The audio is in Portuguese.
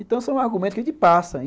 Então, são argumentos que a gente passa.